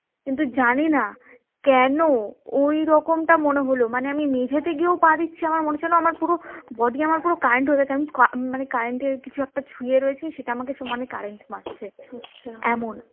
কিন্তু জানি না কেন ঐরকমটা মনে হলো মানে আমি মেঝেতে গিয়েও পা দিচ্ছি আমার মনে হচ্ছে যেন আমার পুরো body current হয়ে গেছে মানে আমি current এর কিছু একটা ছুঁয়ে রয়েছি সেটা আমাকে সমানে current মারছে এমন